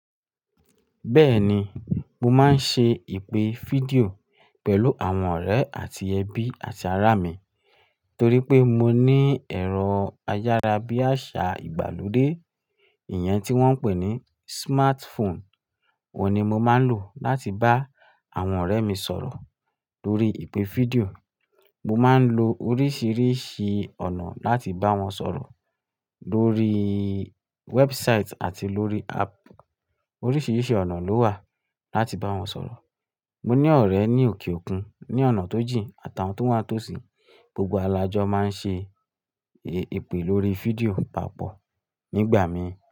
Bẹ́ẹ̀ni, mo máa ń ṣe ìpè fídíò pẹ̀lú àwọn ọ̀rẹ́ àti ẹbí àti ará mi, torí pé mo ní ẹ̀rọ ayára bí àṣá ìgbàlódé. Ìyẹn tí wọ́n ń pè ní smartphone, òun ni mo máa ń lò láti bá àwọn ọ̀rẹ́ mi sọ̀rọ̀ lórí ìpè fídíò. Mo máa ń lo oríṣìíríṣìí ọ̀nà láti bá wọn sọ̀rọ̀ lórí website àti lórí app. Oríṣìíríṣìí ọ̀nà ló wà láti bá wọn sọ̀rọ̀. Mo ní ọ̀rẹ́ ní òkè òkun, ní ọ̀nà tó jìn àtàwọn tó wà ni tósí, gbogbo wa lajọ máa ń ṣe ìpè lórí fídíò papọ̀ nígbà mí.